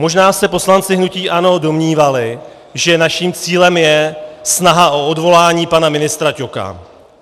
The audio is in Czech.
Možná se poslanci hnutí ANO domnívali, že naším cílem je snaha o odvolání pana ministra Ťoka.